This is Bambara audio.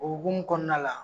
O hokumu kɔnɔna la.